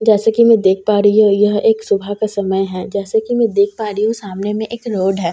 जैसे कि मैं देख पा रही हूं यह एक सुबह का समय है जैसा कि मैं देख पा रही हूं सामने में एक रोड है जैसे की --